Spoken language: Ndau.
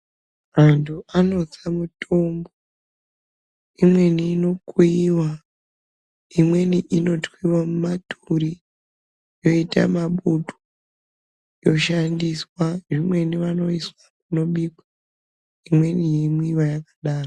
Vantu vanotsa mitombo. Imweni inokuyiwa. Imweni inotwiwa mumaturi yoita mabutu yoshandiswa. Imweni inobikwa. Imweni yeimwiwa yakadaro.